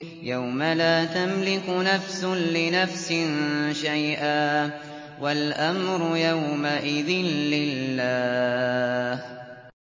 يَوْمَ لَا تَمْلِكُ نَفْسٌ لِّنَفْسٍ شَيْئًا ۖ وَالْأَمْرُ يَوْمَئِذٍ لِّلَّهِ